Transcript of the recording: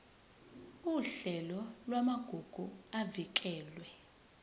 uhlelo lwamagugu avikelwe